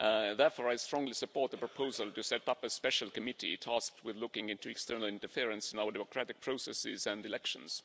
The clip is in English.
Therefore, I strongly support the proposal to set up a special committee tasked with looking into external interference in our democratic processes and elections.